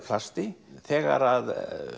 plasti þegar